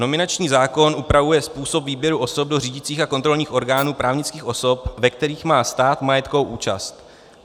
Nominační zákon upravuje způsob výběru osob do řídících a kontrolních orgánů právnických osob, ve kterých má stát majetkovou účast.